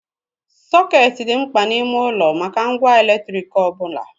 Soket dị mkpa n'ime ụlọ maka ngwa eletrik ọ bụla.